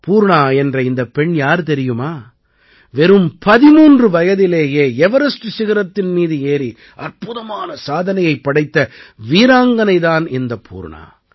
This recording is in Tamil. பூர்ணா என்ற இந்தப் பெண் யார் தெரியுமா வெறும் 13 வயதிலேயே எவரெஸ்ட் சிகரத்தின் மீது ஏறி அற்புதமான சாதனையைப் படைத்த வீராங்கனை தான் இந்த பூர்ணா